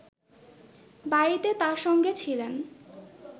বাড়িতে তার সঙ্গে ছিলেন